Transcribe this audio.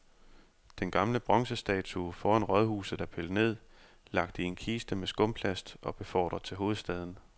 Den gamle bronzestatue foran rådhuset er pillet ned, lagt i en kiste med skumplast og befordret til hovedstaden.